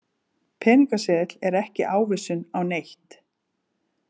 Peningaseðill er ekki ávísun á neitt.